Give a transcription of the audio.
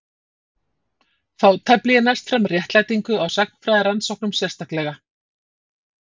Þá tefli ég næst fram réttlætingu á sagnfræðirannsóknum sérstaklega.